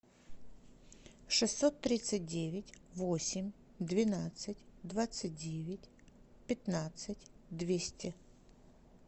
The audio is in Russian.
шестьсот тридцать девять восемь двенадцать двадцать девять пятнадцать двести